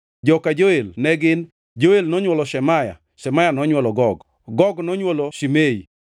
Joka Joel ne gin: Joel nonywolo Shemaya, Shemaya nonywolo Gog, Gog nonywolo Shimei,